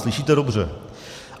Slyšíte dobře.